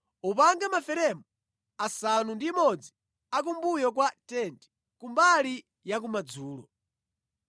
Upange maferemu asanu ndi imodzi a kumbuyo kwa tenti, kumbali yakumadzulo.